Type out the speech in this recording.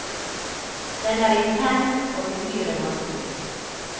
Den er intens, og uhyre vanskelig.